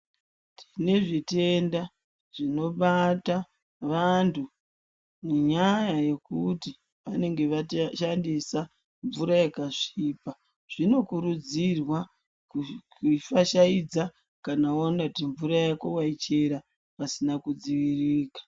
Tine zvitenda zvinobata vantu nenyaya yekuti vanenge vashandisa mvura yakasvipa. Zvinokurudzirwa kufashaidza kana waona kuti mvura yako waichera pasina kudziviririka.